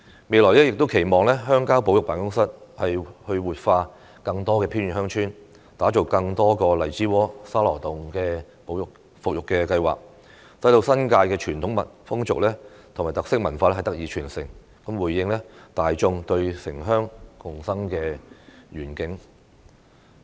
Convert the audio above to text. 未來亦期望鄉郊保育辦公室活化更多偏遠鄉村，打造更多個荔枝窩、沙羅洞的復育計劃，使新界傳統風俗及特色文化得以傳承，回應大眾對城鄉共生的願景。